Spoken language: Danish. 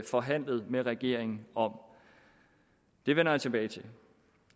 forhandlet med regeringen om det vender jeg tilbage til